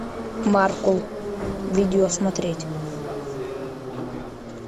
маркул видео смотреть